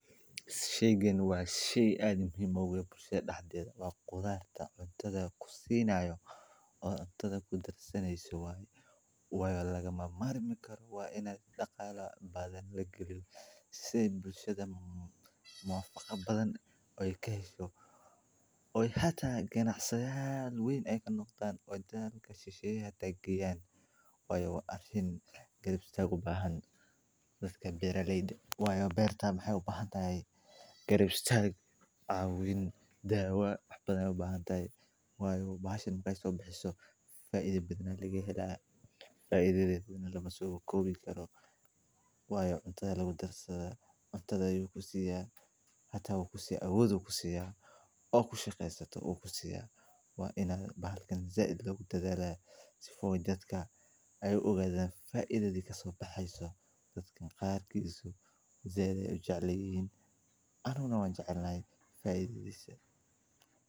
Shayqan wa shay aad muhiim ugu aah bulshada daxdedha wa qudhaarta cuntadha kusinayo oo cuntadha kudarsaneysid waye wayo lagamarmarmi karo waa ina daqala aan lagaliin si ay bulshada nafaqo badan ay kahesho oo hata ganacsiyahan weyn ay kanaqdana wadiyaha kala shahsheqay haday geyaan wayo waa arin garab istaag u bahaan dadka beeralayda wayo beerta maxay u bahantahy garab istag, cawin, dawa badan ay ubahantahy wayo bahashan markay so bixiso faidha badan lagahela faidhadeet lamaso koobi karo wayo cuntada aya lagu darsadha, cuntada ayu kusiya hata ukusiya awood oo aad kushaqeysato kusiya waa in aad zaid laogodadhala sifa oo dadka oo ay u ogadhan faidadha kasobaxayso daadka qaar kisa zaid ay ujeclihiin ani waan jeclahay faidhadhisa.